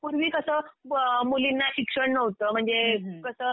पूर्वी कसं मुलींना शिक्षण नव्हतं. म्हणजे कसं